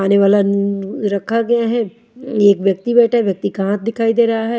खाने वाला न रखा गया है एक व्यक्ति बैठा है व्यक्ति का हाथ दिखाई दे रहा है।